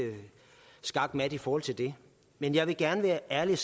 skakmat i forhold til det men jeg vil gerne være ærlig